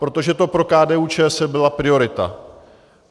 Protože to pro KDU-ČSL byla priorita.